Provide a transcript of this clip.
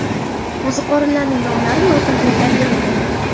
Qo‘ziqorinlarning nomlari lotin tilida berilgan.